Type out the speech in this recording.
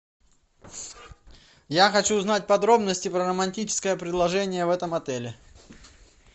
я хочу узнать подробности про романтическое предложение в этом отеле